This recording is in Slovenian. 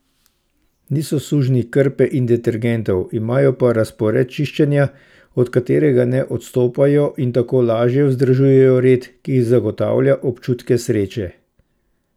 Niso sužnji krpe in detergentov, imajo pa razpored čiščenja, od katerega ne odstopajo in tako lažje vzdržujejo red, ki zagotavlja občutke sreče.